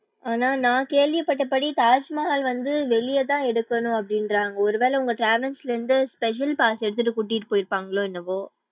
ஆனா நா கேள்வி பட்டப்படி தாஜ்மஹால் வந்து வெளிய தான் எடுக்கணும் அபடிங்குறாங்க ஒருவேள உங்க travels ல இருந்து special pass எடுத்துட்டு கூட்டிட்டு போயிருப்பாங்ளோ என்னவோ?